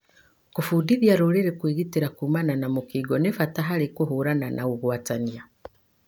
Kũbundithia rũrĩri kwĩgitĩra kũmana na mũkingo nĩ bata harĩ kũhũrana na ũgwatania.